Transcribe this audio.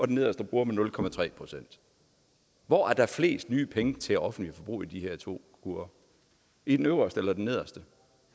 den nederste bruger man nul procent hvor er der flest nye penge til det offentlige forbrug i de her to kurver i den øverste eller i den nederste